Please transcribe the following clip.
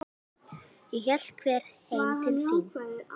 Þá hélt hver heim til sín.